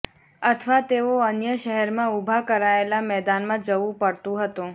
અથવા તેઓ અન્ય શહેરમાં ઉભા કરાયેલા મેદાનમાં જવું પડતું હતું